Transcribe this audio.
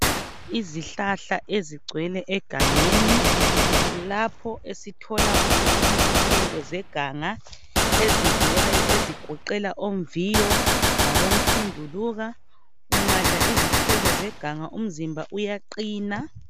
Izihlahla ezigcwele egangeni, kulapho esithola khona izithelo zeganga ezidliwayo ezigoqela omviyo labomthunduluka. Ungadla izithelo zeganga umzimba uyaqina.